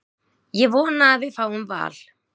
Ég vona að við fáum Val.